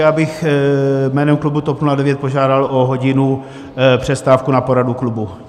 Já bych jménem klubu TOP 09 požádal o hodinu přestávku na poradu klubu.